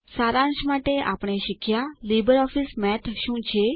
સારાંશ માટે આપણે શીખ્યા લીબરઓફીસ મેથ શું છે